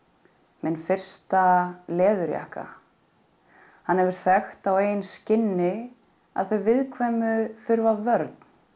minn fyrsta leðurjakka hann hefur þekkt á eigin skinni að þau viðkvæmu þurfa vörn